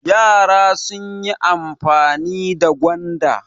Yara sun yi amfani da gwanda.